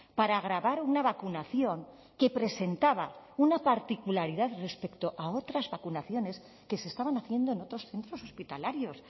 para grabar una vacunación que presentaba una particularidad respecto a otras vacunaciones que se estaban haciendo en otros centros hospitalarios